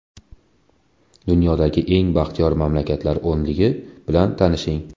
Dunyodagi eng baxtiyor mamlakatlar o‘nligi bilan tanishing.